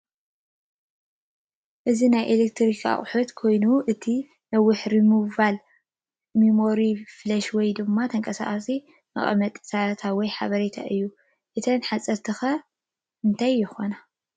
እዚ ናይ ኢሌክትሮኒክን ኣቑሑ ኮይኑ እቲ ነዋሕቲ ሪሞቫብል ሚሞሪ ፍለሽ ወይ ድማ ተንቓሳቓሳይ መቐመጢ ዳታ ወይ ሓበሪታ እዩ እተን ሓፀርቲ ኸ እንታይ ይኾነ ?